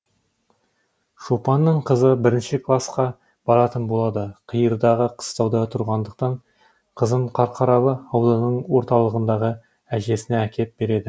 шопанның қызы бірінші класқа баратын болады қиырдағы қыстауда тұрғандықтан қызын қарқаралы ауданының орталығындағы әжесіне әкеп береді